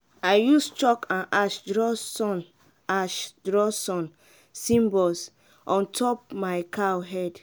i use chalk and ash draw sun ash draw sun symbols on top my cow head.